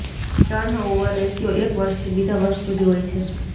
turnover ratio એક વર્ષથી બીજા વર્ષ સુધી હોય છે